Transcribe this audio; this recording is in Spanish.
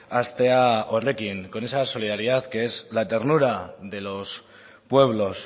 hastea horrekin con esa solidaridad que es la ternura de los pueblos